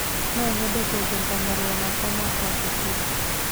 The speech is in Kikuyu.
no nyende kuongerera marũa makwa ma kũandĩkwo